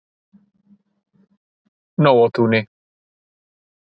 Nóatúni